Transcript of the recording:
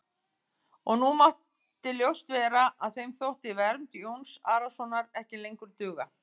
Og nú mátti ljóst vera að þeim þótti vernd Jóns Arasonar ekki lengur duga.